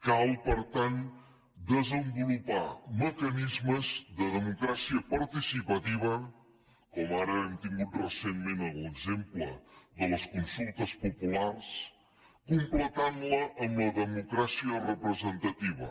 cal per tant desenvolupar mecanismes de democràcia participativa com ara hem tingut recentment en l’exemple de les consultes populars completant la amb la democràcia representativa